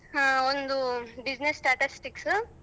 ಹ್ಮ ಒಂದು business statistics .